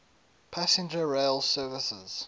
passenger rail services